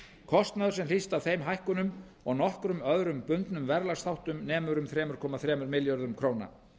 kostnaður sem hlýst af þeim hækkunum og nokkrum öðrum bundnum verðlagsþáttum nemur um þrjú komma þremur milljörðum króna